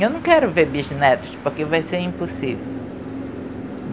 Eu não quero ver bisnetos, porque vai ser impossível.